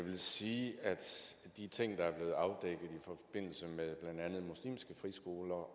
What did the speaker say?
sige ja til en høring om muslimske friskoler og